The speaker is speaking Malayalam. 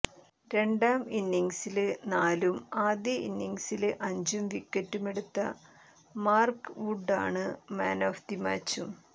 രണ്ടാം ഇന്നിങ്സില് നാലും ആദ്യ ഇന്നിങ്സില് അഞ്ചും വിക്കറ്റുമെടുത്ത മാര്ക്ക് വുഡാണു മാന് ഓഫ് ദ് മാച്ചും